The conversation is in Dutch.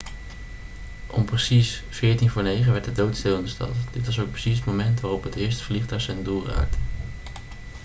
om precies 8.46 uur werd het doodstil in de stad dit was ook precies het moment waarop het eerste vliegtuig zijn doel raakte